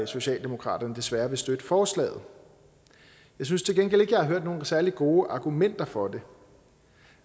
socialdemokratiet desværre vil støtte forslaget jeg synes til gengæld ikke jeg har hørt nogen særlig gode argumenter for